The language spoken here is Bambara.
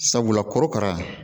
Sabula korokara